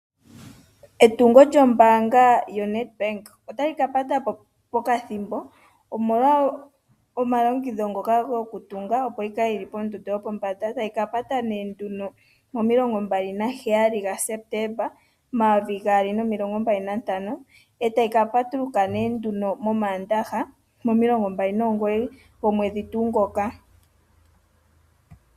Etungo lyombaanga yoNedbank ota li ka pata pokathimbo, omolwa omalongekidho ngoka gokutunga opo yi kale yi li pomuthika gopombanda. Otayi ka pata mo27 Septemba 2025 e tayi ka patuluka mOmaandaha momasiku mo29 Septemba 2025.